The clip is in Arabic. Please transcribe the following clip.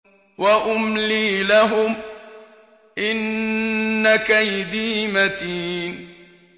وَأُمْلِي لَهُمْ ۚ إِنَّ كَيْدِي مَتِينٌ